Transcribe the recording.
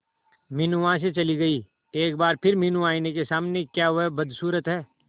मीनू वहां से चली गई एक बार फिर मीनू आईने के सामने क्या वह बदसूरत है